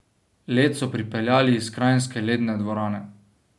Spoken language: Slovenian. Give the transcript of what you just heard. Led so pripeljali iz kranjske ledne dvorane.